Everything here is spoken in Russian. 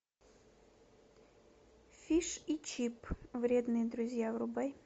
фиш и чип вредные друзья врубай